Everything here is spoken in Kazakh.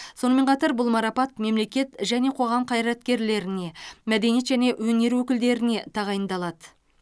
сонымен қатар бұл марапат мемлекет және қоғам қайраткерлеріне мәдениет және өнер өкілдеріне тағайындалады